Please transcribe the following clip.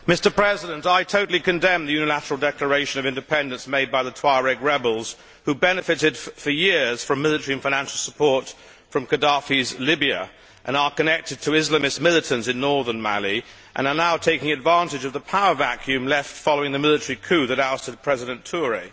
Mr President, I totally condemn the unilateral declaration of independence made by the Tuareg rebels, who benefited for years from military and financial support from Gaddafi's Libya, are connected to Islamic militants in Northern Mali and are now taking advantage of the power vacuum left following the military coup that ousted President Touré.